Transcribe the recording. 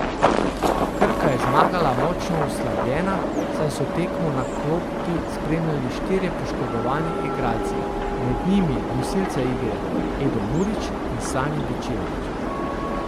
Krka je zmagala močno oslabljena, saj so tekmo na klopi spremljali štirje poškodovani igralci, med njimi nosilca igre Edo Murić in Sani Bečirović.